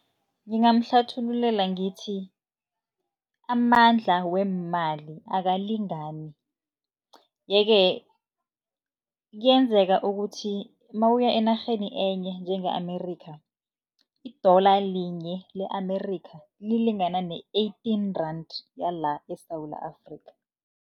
Ngingamhlathululela ngithi amandla weemali akalingani. Ye-ke kuyenzeka ukuthi nawuya enarheni enye njenge-Amerika, i-dollar linye le-Amerika, lilingana ne-eighteen rand yala eSewula Afrika.